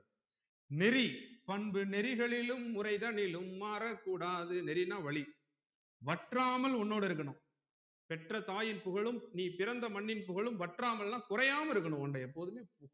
நெறி பண்பு நெறிகலிலும் முறைகளிலும் மாறக்கூடாது நெறினா வழி வற்றாமல் உன்னோடு இருக்கனும் பெற்ற தாயும் புகழும் நீ பிறந்த மண்ணின் புகழும் வற்றாமல்ன்னா குறையாம இருக்கனும் உன்னுடைய எப்போதுமே இருக்கணும்